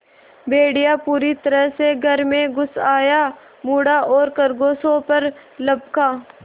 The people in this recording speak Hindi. भेड़िया पूरी तरह से घर में घुस आया मुड़ा और खरगोशों पर लपका